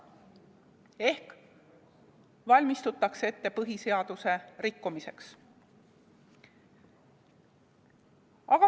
Ehk valmistutakse põhiseaduse rikkumiseks.